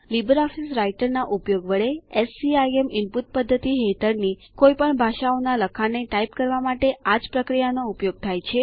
Libre office રાઈટરના ઉપયોગ વડે એસસીઆઈએમ ઈનપુટ પદ્ધતિ હેઠળની કોઈપણ ભાષાઓના લખાણને ટાઈપ કરવા માટે આ જ પ્રક્રિયા નો ઉપયોગ થાય છે